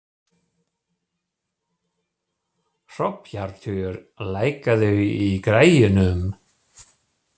Hróbjartur, lækkaðu í græjunum.